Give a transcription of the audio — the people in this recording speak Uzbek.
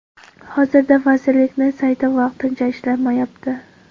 Hozirda vazirlikni sayti vaqtincha ishlamayapti.